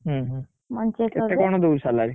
ହୁଁ ହୁଁ, କେତେ କଣ ଦଉଛି salary ?